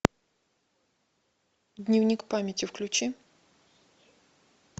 дневник памяти включи